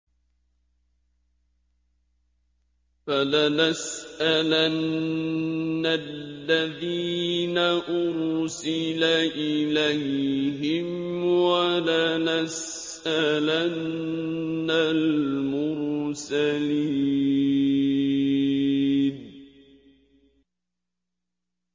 فَلَنَسْأَلَنَّ الَّذِينَ أُرْسِلَ إِلَيْهِمْ وَلَنَسْأَلَنَّ الْمُرْسَلِينَ